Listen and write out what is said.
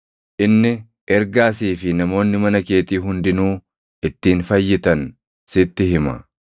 inni ergaa sii fi namoonni mana keetii hundinuu ittiin fayyitan sitti hima.’